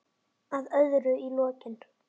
Að öðru í lokin.